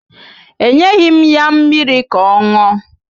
Enyeghi m ya mmiri ka ọ ṅụọ